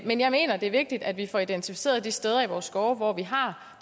men jeg mener det er vigtigt at vi får identificeret de steder i vores skove hvor vi har